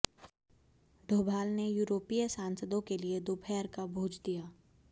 डोभाल ने यूरोपीय सांसदों के लिए दोपहर का भोज दिया